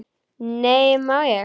Nei, má ég!